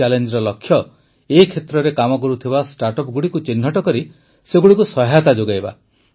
ଏହି ଚ୍ୟାଲେଞ୍ଜର ଲକ୍ଷ୍ୟ ଏ କ୍ଷେତ୍ରରେ କାମ କରୁଥିବା ଷ୍ଟାର୍ଟଅପ ଗୁଡ଼ିକୁ ଚିହ୍ନଟ କରି ସେଗୁଡ଼ିକୁ ସହାୟତା ଯୋଗାଇବା